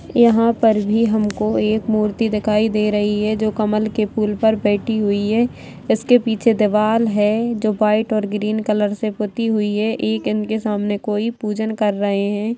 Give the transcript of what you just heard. यहां पर भी हमको एक मूर्ति दिखाई दे रही है जो कमल के फूल पर बैठी हुई है इसके पीछे दीवाल है जो व्हाइट और ग्रीन कलर से पुती हुई है एक इनके सामने कोई पूजन कर रहे है।